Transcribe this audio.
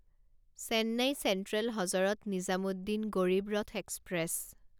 Chennai central Hazrat Nizamuddin Garib Rath express